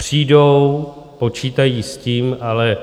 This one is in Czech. Přijdou, počítají s tím, ale